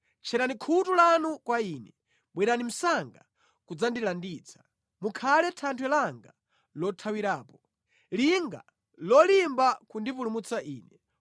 Tcherani khutu lanu kwa ine, bwerani msanga kudzandilanditsa; mukhale thanthwe langa lothawirapo, linga lolimba kundipulumutsa ine.